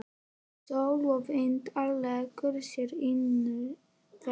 Sól og vindar léku sér innan veggja.